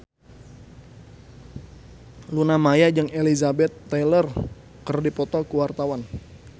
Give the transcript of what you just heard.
Luna Maya jeung Elizabeth Taylor keur dipoto ku wartawan